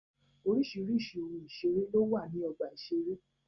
Oríṣìíríṣìí ohun ìṣẹrẹ ló wà ní ọgbà ìṣeré.